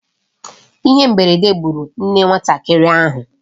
Ihe mberede gburu nne nwatakịrị ahụ.